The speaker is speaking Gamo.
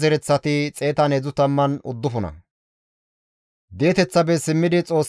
Baqibuqe, Haqufanne Harihure zereththata,